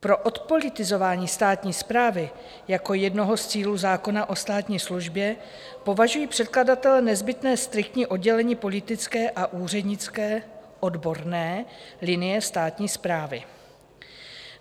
Pro odpolitizování státní správy jako jednoho z cílů zákona o státní službě považují předkladatelé nezbytné striktní oddělení politické a úřednické, odborné linie státní správy.